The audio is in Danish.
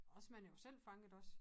Også man er jo selv fanget også